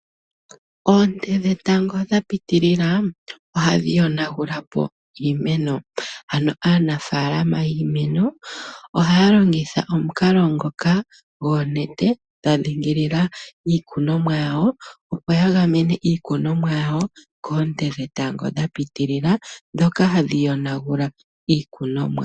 Oonte dhetango dha pitilila ohadhi yonagula po iimeno ano aanafaalama yiimeno ohaya longitha omukalo ngoka gwoonete dha dhingilila iikunomwa yawo , opo yagamene iikunomwa yawo koonte dhetango dha pitilila dhoka hadhi yonagula po iikunomwa.